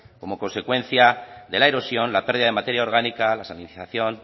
como consecuencia de la erosión la pérdida de materia orgánica la salinización